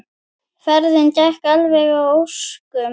Ferðin gekk alveg að óskum.